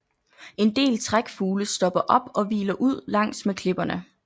En del trækfugle stopper op og hviler ud langs med klipperne